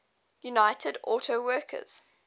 united auto workers